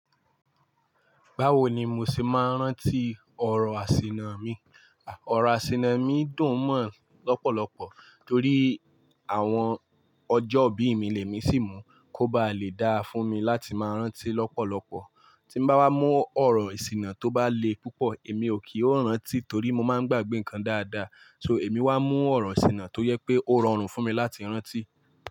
Báwo ni mo ṣe máa ń rántí ọ̀rọ̀ àsìnà mi? Ọ̀rọ̀ àsìnà mi dùn mọ́ lọ́pọ̀lọpọ̀ torí àwọn ọjọ́ ìbí mi lè mí sì mú kó ba lè dá fún mi láti máa rántí lọ́pọ̀lọpọ̀. Tí bá wá mú ọ̀rọ̀ ìsìnà tó bá le púpọ̀, èmi ò kì í rántí torí mo máa ń gbàgbé nǹkan dáadáa. So èmi wá mú ọ̀rọ̀ ìsìnà tó yẹ pé ó rọrùn fún mi láti rántí.